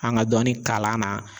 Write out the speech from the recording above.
An ŋa dɔɔni kalan na